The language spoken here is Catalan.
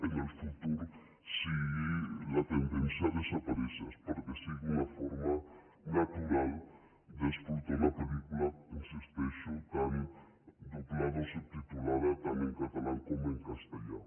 en el futur sigui la tendència a desaparèixer perquè sigui una forma natural d’explotar una pel·lícula hi insisteixo doblada o subtitulada tant en català com en castellà